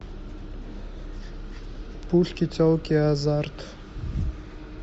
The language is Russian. пушки телки и азарт